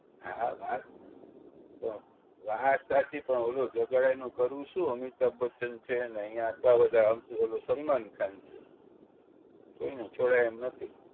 હા વાત તો વાત સાચી પણ ઓલો જગાડે એનું કરવું શું અમિતાભ બચ્ચન છે ને અહિયાં આટલા બધા આવશે ઓલો સલમાન ખાન છે કોઈ ને છોડાય એમ નથી